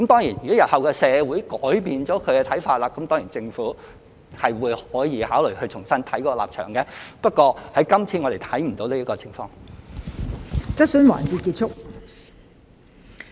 如果日後社會改變了看法，政府當然可以考慮重新審視立場，但我們今次看不到有此情況。